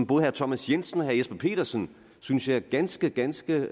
både herre thomas jensen og herre jesper petersen synes jeg ganske ganske